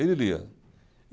Ele lia.